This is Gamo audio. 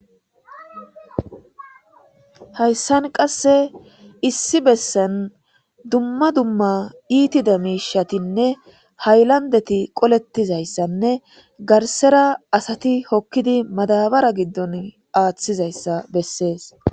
Hayssan qasse issi bessen dumma dumma iitida miishatinne haylandeti qolettizayssanne garsera asati hokkidi madabara giddon aaththizayssa bessees.